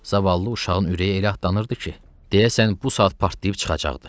Zavallı uşağın ürəyi elə atlanırdı ki, deyəsən bu saat partlayıb çıxacaqdı.